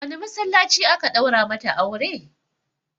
A wane masallaci aka ɗaura mata aure?